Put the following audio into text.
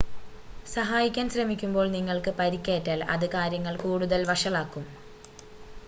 സഹായിക്കാൻ ശ്രമിക്കുമ്പോൾ നിങ്ങൾക്ക് പരിക്കേറ്റാൽ അത് കാര്യങ്ങൾ കൂടുതൽ വഷളാക്കും